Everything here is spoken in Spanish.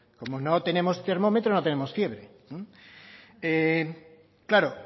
como no tenemos termómetro no tenemos fiebre claro